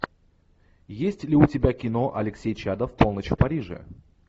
есть ли у тебя кино алексей чадов полночь в париже